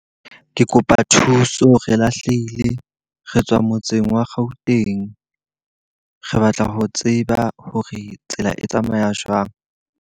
Ke kopa thuso, re lahlehile re tswa motseng wa Gauteng. Re batla ho tseba hore tsela e tsamaya jwang.